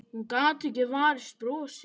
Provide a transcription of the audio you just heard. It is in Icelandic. Hún getur ekki varist brosi.